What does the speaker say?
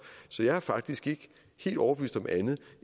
så jeg er faktisk ikke overbevist om andet